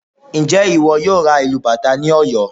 Ǹjẹ́ ìwọ yóò ra ìlù bàtá ní Ọ̀yọ́?